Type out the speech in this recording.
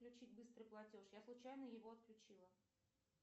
включить быстрый платеж я случайно его отключила